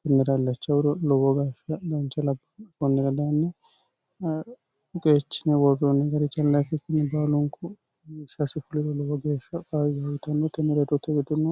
kinnira llacha wuro lowo gashsha ganche labba kunnira daanni uqeechine worruunni garicha laikikinni baalunku shasifuliro lowo geeshsha qai gaayitannotinniredootte widuno